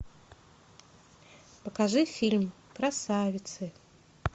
покажи фильм красавицы